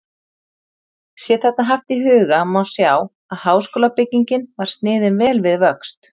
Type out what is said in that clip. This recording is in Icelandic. Sé þetta haft í huga, má sjá, að háskólabyggingin var sniðin vel við vöxt.